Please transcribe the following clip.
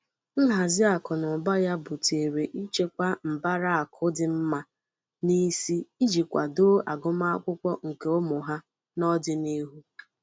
Nhazi akụnaụba ya butere ichekwa mbara akụ dị mma n'isi iji kwàdoo agụmakwụkwọ nke ụmụ ha n'ọdinihu.